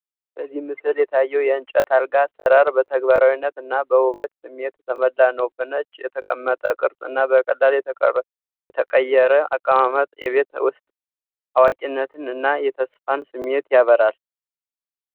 በዚህ ምስል የታየው የእንጨት አልጋ አሰራር በተግባራዊነት እና በውበት ስሜት የተሞላ ነው። በነጭ የተቀመጠ ቅርጽ እና በቀላል የተቀየረ አቀማመጥ የቤት ውስጥ አዋቂነትን እና የተስፋን ስሜት ያበራል።